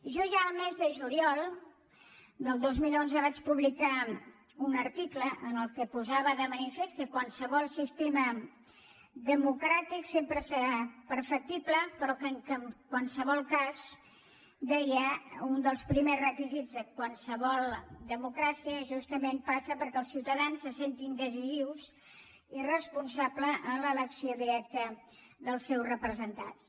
jo ja el mes de juliol del dos mil onze vaig publicar un article en què posava de manifest que qualsevol sistema democràtic sempre serà perfectible però que en qualsevol cas deia un dels primers requisits de qualsevol democràcia justament passa perquè els ciutadans se sentin decisius i responsables en l’elecció directa dels seus representants